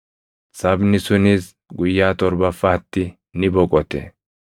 Sabni sunis guyyaa torbaffaatti ni boqote.